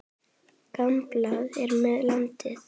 Gamblað er með landið.